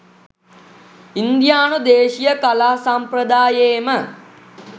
ඉන්දියානු දේශීය කලා සම්ප්‍රදායේම